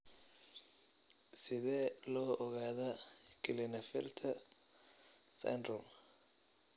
Sidee loo ogaadaa Klinefelter syndrome?